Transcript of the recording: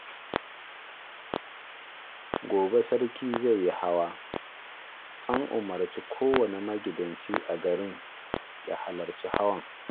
Gobe sarki zai yi hawa, an umarci kowanne magidanci a garin ya halarci hawan